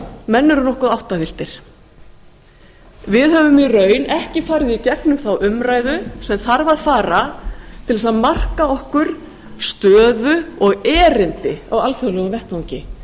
menn eru nokkuð áttavilltir við höfum í raun ekki farið í gegnum þá umræðu sem þarf að fara til að marka okkur stöðu og erindi á alþjóðlegum vettvangi